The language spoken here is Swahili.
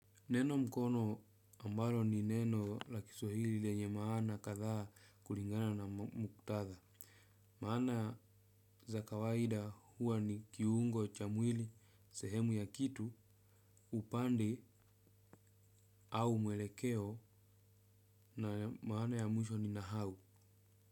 Neno mkono ambalo ni neno la kiswahili lenye maana kadhaa kulingana na muktadha. Maana za kawaida huwa ni kiungo cha mwili sehemu ya kitu upande au mwelekeo na maana ya mwisho ni nahau.